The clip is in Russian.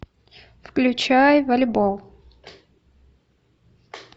включай волейбол